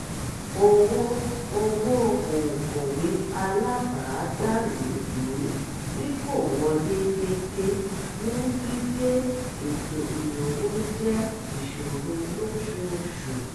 owó owó òǹkọ̀wé alábàádàlúgbùú tí kò wọlé déédéé mú gbígbé ètò ìnáwó jẹ́ ìṣòro lóṣooṣù